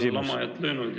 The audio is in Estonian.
Ei ole lamajat löönud.